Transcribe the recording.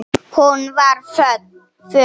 Hún var föl.